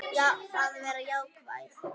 Að vera jákvæð.